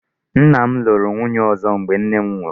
Nna m lụrụ nwunye ọzọ mgbe nne m nwụrụ.